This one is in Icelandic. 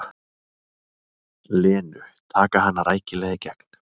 Lenu, taka hana rækilega í gegn.